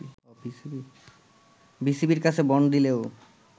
বিসিবির কাছে বন্ড দিলেও